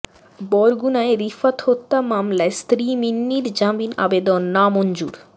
বরগুনায় রিফাত হত্যা মামলায় স্ত্রী মিন্নির জামিন আবেদন নামঞ্জুর